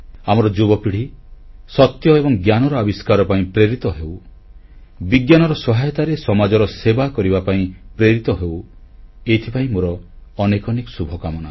ଆମର ଯୁବପିଢ଼ି ସତ୍ୟ ଏବଂ ଜ୍ଞାନର ଆବିଷ୍କାର ପାଇଁ ପ୍ରେରିତ ହେଉ ବିଜ୍ଞାନର ସହାୟତାରେ ସମାଜର ସେବା କରିବା ପାଇଁ ପ୍ରେରିତ ହେଉ ଏଥିପାଇଁ ମୋର ଅନେକ ଅନେକ ଶୁଭକାମନା